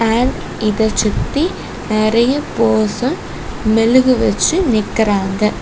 இதை சுத்தி நிறைய பேர்சன் மெழுகு வச்சு நிக்கிறாங்க.